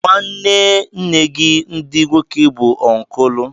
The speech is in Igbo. Nwanne nne gị ndị nwoke bụ ọnkụl